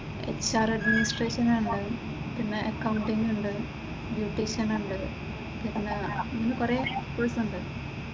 HR administration‍ ഉണ്ട് പിന്നെ accounting ഉണ്ട്, ബ്യൂട്ടീഷ്യൻ ഉണ്ട് പിന്നെ കുറെ കോഴ്സ് ഉണ്ട്.